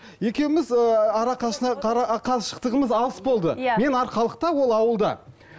екеуміз ыыы қашықтығымыз алыс болды мен арқалықта ол ауылда